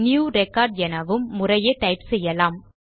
new record எனவும் முறையே type செய்யலாம்